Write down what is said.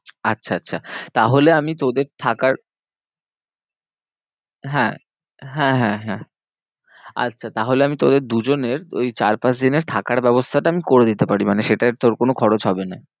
আচ্ছা আচ্ছা তাহলে আমি তোদের থাকার হ্যাঁ, হ্যাঁ হ্যাঁ হ্যাঁ আচ্ছা তাহলে আমি তোদের দু জনের ওই চার পাঁচ দিনের থাকার ব্যবস্থাটা আমি করে দিতে পারি মানে সেটায় তোর কোনো খরচ হবে না।